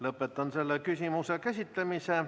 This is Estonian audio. Lõpetan selle küsimuse käsitlemise.